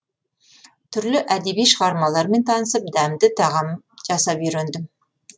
түрлі әдеби шығармалармен танысып дәмді тағам жасап үйрендім